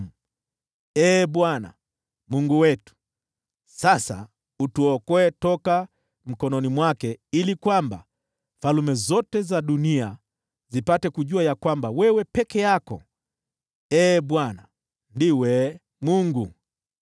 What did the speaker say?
Sasa basi, Ee Bwana Mungu wetu, tuokoe kutoka mkononi mwake, ili kwamba falme zote duniani zipate kujua kwamba wewe peke yako, Ee Bwana , ndiwe Mungu.”